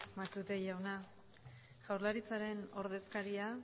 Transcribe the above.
matute jauna jaurlaritzaren ordezkaria